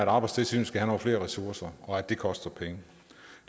arbejdstilsynet skal have nogle flere ressourcer og at det koster penge